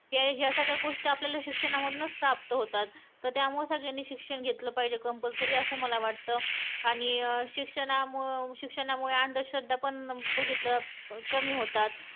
" style=""vertical-align: inherit; "" style=""vertical-align: inherit; ""ह्या सगळ्या गोष्टी आपल्याला शिक्षणामधूनच प्राप्त होता है तत् त्यामुळं सगळ्यांनी शिक्षण घेतलं पाहिजे compulsory असं मला वाटं आणि अं शिक्षणामुळं शिक्षणामुळे अंधश्रद्धा पण बघितलं कामी होती है"